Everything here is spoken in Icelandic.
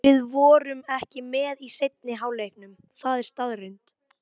Við vorum ekki með í seinni hálfleiknum, það er staðreynd.